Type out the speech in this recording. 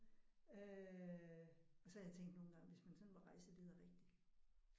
Øh og så har jeg tænkt nogle gange hvis man sådan var rejseleder rigtigt